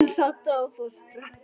En þá dó fóstra.